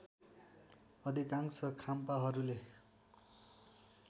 अधिकाशं खाम्पाहरूले